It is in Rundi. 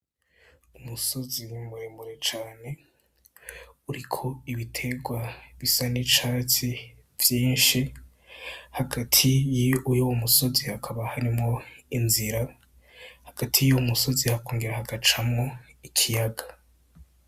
Umusozi muremure cane uriko ibiterwa bisa n'icatsi vyinshi hagati yuwo musozi hakaba harimwo inzira, hagati y’uwo musozi hakongera hagacamwo ikiyaga.